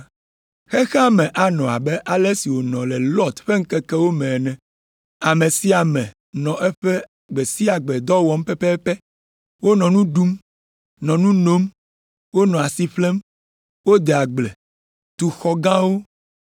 “Xexea me anɔ abe ale si wònɔ le Lɔt ƒe ŋkekewo me ene. Ame sia ame nɔ eƒe gbe sia gbe dɔ wɔm pɛpɛpɛ. Wonɔ nu ɖum, nɔ nu nom, wonɔ asi ƒlem, wode agble, tu xɔ gãwo